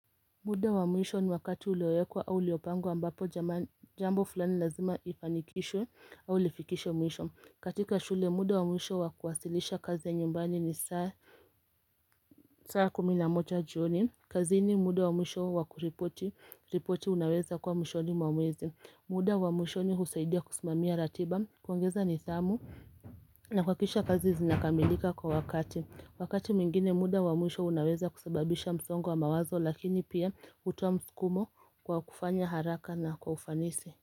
Muda wa mwisho ni wakati ulioyekwa au liopangwa ambapo jambo fulani lazima ifanikishwe au lifikishwe mwisho katika shule muda wa mwisho wakuwasilisha kazi ya nyumbani ni saa kumi na moja jioni kazini muda wa mwisho wakuripoti unaweza kwa mwisho ni mwamwezi muda wa mwisho ni husaidia kusimamia ratiba kuongeza nidhamu na kwa kisha kazi zinakamilika kwa wakati Wakati mwingine muda wa mwisho unaweza kusababisha msongo wa mawazo lakini pia kutowa msukumo kwa kufanya haraka na kwa ufanisi.